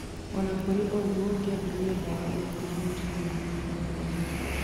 Onakũrĩ ũguo kĩambĩrĩrĩa ndawa ĩyo ndĩaumirie thiri oyothe